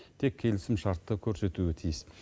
тек келісімшартты көрсетуі тиіс